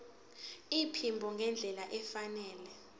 iphimbo ngendlela efanele